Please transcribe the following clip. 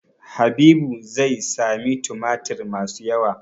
Habibu zai sami tumatir masu yawa.